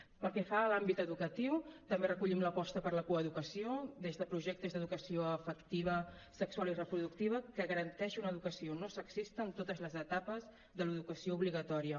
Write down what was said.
pel que fa a l’àmbit educatiu també recollim l’aposta per la coeducació des de projectes d’educació afectiva sexual i reproductiva que garanteixi una educació no sexista en totes les etapes de l’educació obligatòria